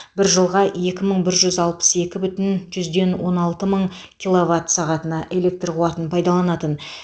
бір жылға екі мың бір жүз алпыс екі бүтін жүзден он алты мың киловат сағатына электр қуатын пайдаланатын